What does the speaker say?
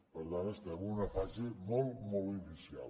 per tant estem en una fase molt molt inicial